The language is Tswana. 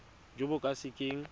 jo bo ka se keng